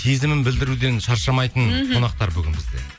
сезімін білдіруден шаршамайтын қонақтар бүгін бізде